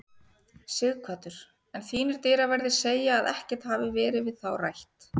Sighvatur: En þínir dyraverðir segja að ekkert hafi verið við þá rætt?